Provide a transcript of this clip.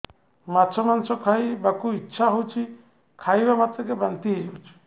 ମାଛ ମାଂସ ଖାଇ ବାକୁ ଇଚ୍ଛା ହଉଛି ଖାଇଲା ମାତ୍ରକେ ବାନ୍ତି ହେଇଯାଉଛି